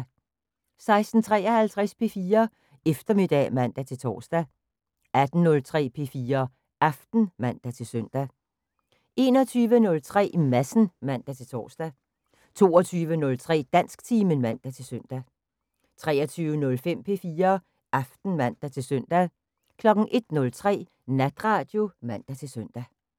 16:53: P4 Eftermiddag (man-tor) 18:03: P4 Aften (man-søn) 21:03: Madsen (man-tor) 22:03: Dansktimen (man-søn) 23:05: P4 Aften (man-søn) 01:03: Natradio (man-søn)